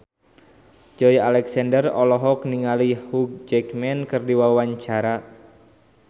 Joey Alexander olohok ningali Hugh Jackman keur diwawancara